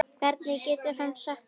Hvernig getur hann sagt þetta?